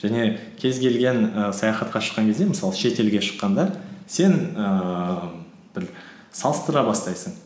және кез келген і саяхатқа шыққан кезде мысалы шетелге шыққанда сен ііі бір салыстыра бастайсың